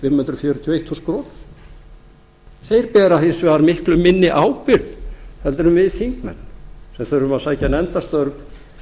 hundruð fjörutíu og eitt þúsund krónur þeir bera hins vegar miklu minni ábyrgð heldur en við þingmenn sem þurfum að sækja nefndarstörf